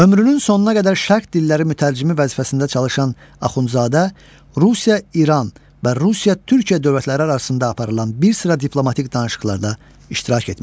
Ömrünün sonuna qədər şərq dilləri mütərcimi vəzifəsində çalışan Axundzadə Rusiya-İran və Rusiya-Türkiyə dövlətləri arasında aparılan bir sıra diplomatik danışıqlarda iştirak etmişdir.